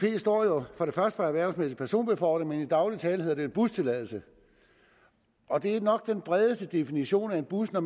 står jo for erhvervsmæssig personbefordring men i daglig tale hedder det bustilladelse og det er nok den bredeste definitionen af en bus når